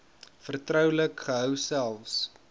vertroulik gehou selfs